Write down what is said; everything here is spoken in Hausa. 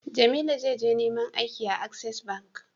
Jamilu za je neman aiki a access bank